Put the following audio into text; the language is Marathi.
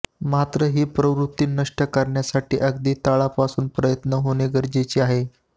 मात्र ही प्रवृत्ती नष्ट करण्यासाठी अगदी तळापासून प्रयत्न होणं गरजेचं आहे